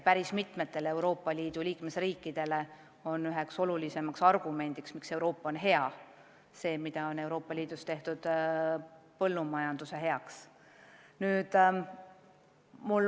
Päris mitme liikmesriigi arvates on üks olulisimaid Euroopa Liidu plusse see, mida ühenduses on tehtud põllumajanduse heaks.